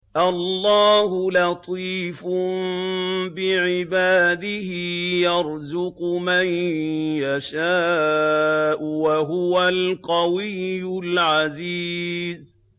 اللَّهُ لَطِيفٌ بِعِبَادِهِ يَرْزُقُ مَن يَشَاءُ ۖ وَهُوَ الْقَوِيُّ الْعَزِيزُ